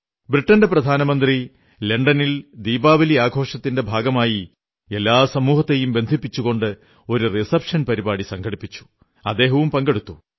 ബ്രിട്ടന്റെ പ്രധാനമന്ത്രി ലണ്ടനിൽ ദീപാവലി ആഘോഷത്തിന്റെ ഭാഗമായി എല്ലാ സമൂഹങ്ങളെയും ബന്ധിപ്പിച്ചുകൊണ്ട് ഒരു വിരുന്നു സൽക്കാരം സംഘടിപ്പിച്ചു അദ്ദേഹവും പങ്കെടുത്തു